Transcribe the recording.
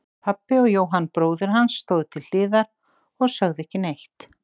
Pabbi og Jóhann bróðir hans stóðu til hliðar og sögðu ekki neitt.